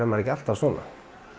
maður ekki alltaf svona